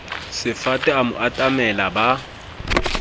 sefate a mo atamela ba